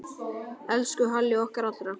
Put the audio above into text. Elsku Halli okkar allra.